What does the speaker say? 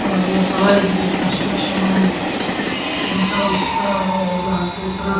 ಅದ್ ಯಲ್ಲ ಸಳ ಇಗೀಗ ಕನ್ಸ್ಟ್ರಕ್ಷನ್ ಮಾಡಿ ಸಿಮೆಂಟ ಉಸ್ಕ್ ಎಲ್ಲಾ ಹಾಕಿರ್ತಾರ.